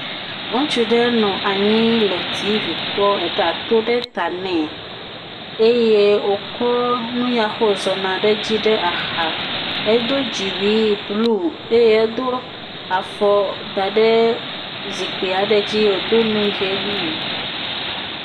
Ŋutsu aɖe nɔ anyi nɔ TV kpɔm eda aɖe to ɖe ta ne eye wokɔ nu yake wò zɔ na ɖe edzi ɖe axa. Edo dziwuie blu eye wokɔ afɔ da ɖe zikpui aɖe dzi, wodo nu ɣie nye.